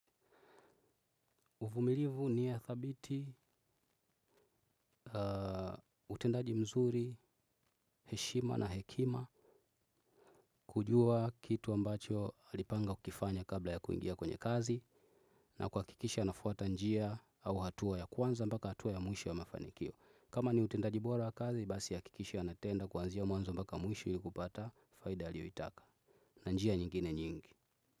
Uvumilivu ni ya thabiti utendaji mzuri heshima na hekima kujua kitu ambacho alipanga kukifanya kabla ya kuingia kwenye kazi na kuhakikisha anafuata njia au hatua ya kwanza mbaka hatua ya mwisho wa mafanikio. Kama ni utendaji bora wa kazi basi hakikisha anatenda kuanzia mwanzo mpaka mwisho ili kupata faida aliyoitaka na njia nyingine nyingi.